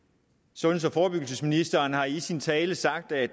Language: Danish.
sundheds og forebyggelsesministeren har i sin tale sagt at